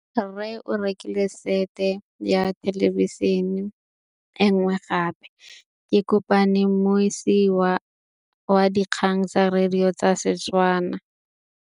Rre o rekile sete ya thêlêbišênê e nngwe gape. Ke kopane mmuisi w dikgang tsa radio tsa Setswana.